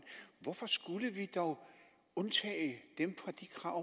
hvorfor skulle vi dog undtage dem fra de krav